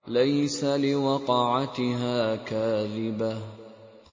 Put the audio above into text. لَيْسَ لِوَقْعَتِهَا كَاذِبَةٌ